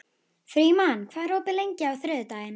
Frímann, hvað er opið lengi á þriðjudaginn?